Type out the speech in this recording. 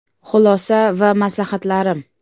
Xulosa va maslahatlarim.